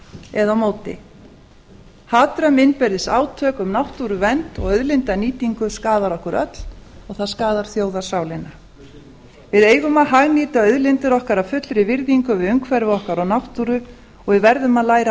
eða á móti hatrömm innbyrðis átök um náttúruvernd og auðlindanýtingu skaða okkur öll og það skaða þjóðarsálina við eigum að hagnýta auðlindir okkar af fullri virðingu við umhverfi okkar og náttúru og við verðum að læra